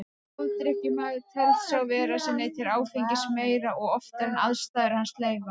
Ofdrykkjumaður telst sá vera sem neytir áfengis meira og oftar en aðstæður hans leyfa.